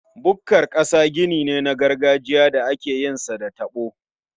Bukkar ƙasa gini ne na gargajiya da akeyin sa da taɓo.